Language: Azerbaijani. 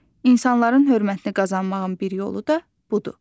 İnsanların hörmətini qazanmağın bir yolu da budur.